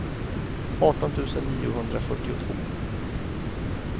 arton tusen niohundrafyrtiotvå